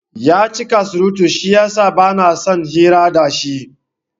Yacika surutu shiyasa bansan hira dashi